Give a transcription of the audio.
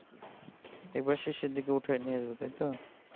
একবারে শেষের দিকে উঠাইয়া নিয়ে যাবো তাইতো